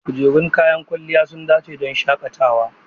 Kujerun kayan kwalliya sun dace don shaƙatawa.